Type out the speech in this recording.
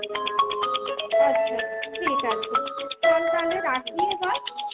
আচ্ছা ঠিক আছে। চল তালে রাখি এবার ?